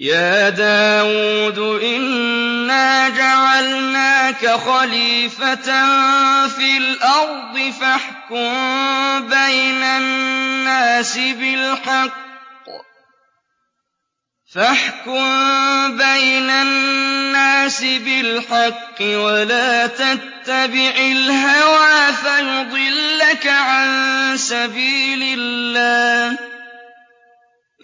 يَا دَاوُودُ إِنَّا جَعَلْنَاكَ خَلِيفَةً فِي الْأَرْضِ فَاحْكُم بَيْنَ النَّاسِ بِالْحَقِّ وَلَا تَتَّبِعِ الْهَوَىٰ فَيُضِلَّكَ عَن سَبِيلِ اللَّهِ ۚ